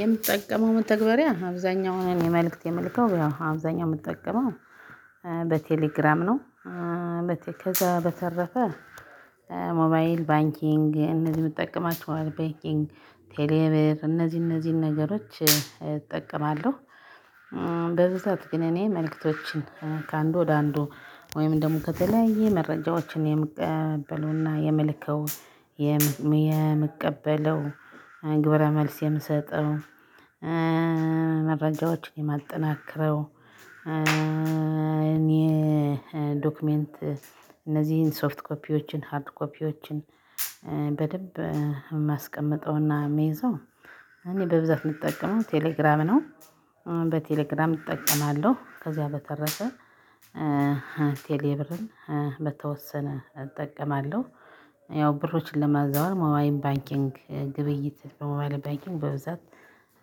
የምጠቀመው መተግበሪያ አብዛኛውን እኔ መልእክት የምልከው አብዛኛው የምጠቀመው በቴሌግራም ነው። ከዛ በተረፈ ሞባይል ባንኪንግ እነዚህ የምጠቀማቸው ባንኪንግ ቴሌብር እነዚህ እነዚህን ነገሮች እጠቀማለሁ ጅ። በዚህ ሰዓት ግን እኔ መልእክቶችን ከአንዱ ወደ አንዱ ወይም ደግሞ ከተለያየ መረጃዎችን የምቀበለውና የምልከው የምቀበለው ግብረ መልስ የምሰጠው መረጃዎችን የማጠናክረው እኔ ዶክመንት እነዚህን ሶፍት ኮፒዎችን ሃርድ ኮፒዎችን በደንብ የማስቀምጠውና የምይዘው እኔ በብዛት እምጠቀመው ቴሌግራም ነው። በቴሌግራም እጠቀማለሁ ከዚያ በተረፈ ቴሌብርን በተወሰነ እጠቀማለሁ ያው ብሮችን ለማዛወር ሞባይል ባንኪንግ ግብይት በሞባይል ባንኪንግ በብዛት